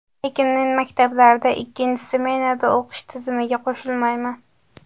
Lekin men maktablarda ikkinchi smenada o‘qish tizimiga qo‘shilmayman.